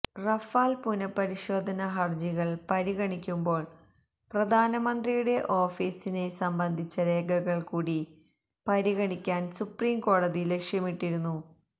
Rafale പുനപരിശോധന ഹര്ജികള് പരിഗണിക്കുമ്പോള് പ്രധാനമന്ത്രിയുടെ ഓഫീസിനെ സംബന്ധിച്ച രേഖകള് കൂടി പരിഗണിക്കാന് സുപ്രീം കോടതി ലക്ഷ്യമിട്ടിരുന്നു